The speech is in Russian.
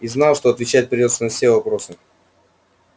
и знал что отвечать придётся на все вопросы